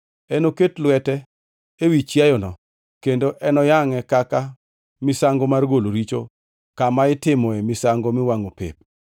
Enoket lwete ewi chiayono, kendo enoyangʼe kaka misango mar golo richo kama itimoe misango miwangʼo pep.